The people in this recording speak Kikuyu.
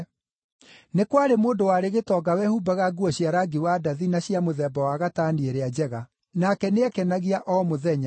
“Nĩ kwarĩ mũndũ warĩ gĩtonga wehumbaga nguo cia rangi wa ndathi na cia mũthemba wa gatani ĩrĩa njega, nake nĩeekenagia o mũthenya.